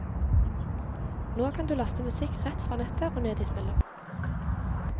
Nå kan du laste musikk rett fra nettet og ned i spilleren.